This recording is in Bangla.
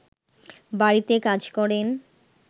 বাড়িতে কাজ করেন